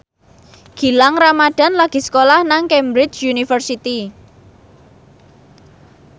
Gilang Ramadan lagi sekolah nang Cambridge University